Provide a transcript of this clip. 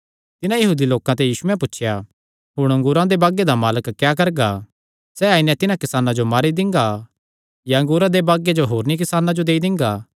तिन्हां यहूदी लोकां ते यीशुयैं पुछया हुण अंगूरा दे बागे दा मालक क्या करगा सैह़ आई नैं तिन्हां किसानां जो मारी दिंगा या अंगूरा दे बागे जो होरनी किसानां जो देई दिंगा